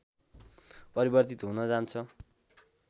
परिवर्तित हुन जान्छ